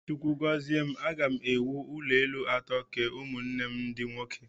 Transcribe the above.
Chukwu gọzie m, aga m ewu ụlọelu atọ, kee ụmụnne m ndị nwoke